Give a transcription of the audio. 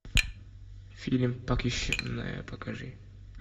фильм похищенная покажи